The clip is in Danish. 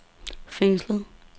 fængslet